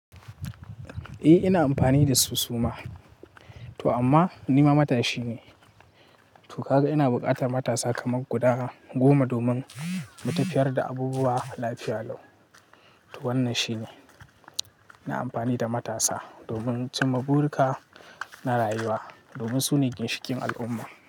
Eh ina amfani da su suma, amma ni ma matashi ne. To ka ga ina buƙatar matasa kamar guda goma domin mu tafiyar da abubuwa lafiya lau. To wannan shine. Ina amfani da matasa domin cin ma burika na rayuwa, domin su ne ginshikin al'umma.